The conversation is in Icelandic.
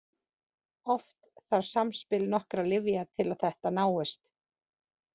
Oft þarf samspil nokkurra lyfja til að þetta náist.